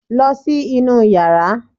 Lọ sí inú yàrá!